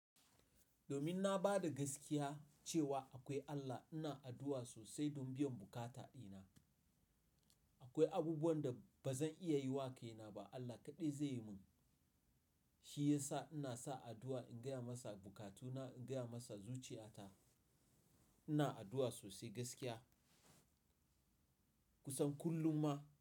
Domin na ba da gaskiya cewa akwai Allah, ina addu'a sosai don biyan bukata dina. Akwai abubuwan da ba zan iya yi wa kai na ba Allah kaɗai zai yi mun. Shi ya sa ina son addu'a in gaya masa bukatuna, in gaya masa zuciyata. Ina addu'a sosai gaskiya kusan kullum ma.